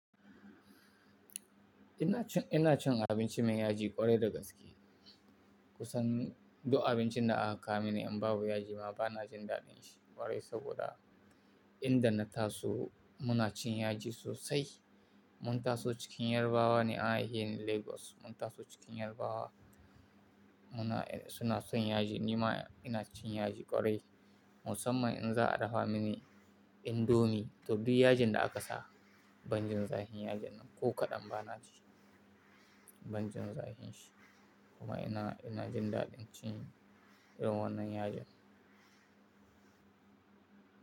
Ina cin, ina cin abinci mai yaji ƙwarai da gaske. Kusan duk abincin da aka kawo mini in babu yaji ma bana jin daɗin shi ƙwarai saboda inda na taso muna cin yaji sosai. Mun taso cikin Yarbawa ne, an haiheni a cikin Legas. Mun taso cikin Yarbawa muna suna son yaji ni ma ina cin yaji ƙwarai. Musamman in za a dafa mini indomi to duk yajin da aka sa, ban jin zahin yajin nan ko kaɗan ba na ji ban jin zahin shi. Kuma ina, ina jin daɗin cin irin wannan yajin.